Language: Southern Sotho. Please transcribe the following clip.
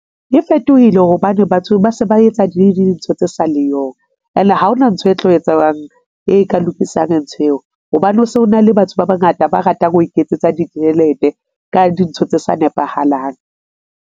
E fetohile hobane batho ba se ba etsa dintho tse sa le yong ene ha ona ntho e tlo etsuwang e ka lokisang ntho eo, hobane ho se hona le batho ba bangata ba ratang ho iketsetsa ditjhelete ka dintho tse sa nepahalang.